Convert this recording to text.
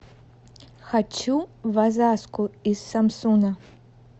хочу в озаску из самсуна